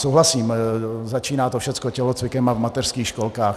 Souhlasím, začíná to všechno tělocvikem a v mateřských školkách.